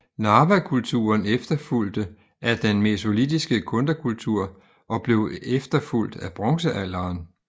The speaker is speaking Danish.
Narvakulturen efterfulgte af den mesolitiske Kundakultur og blev efterfulgt af bronzealderen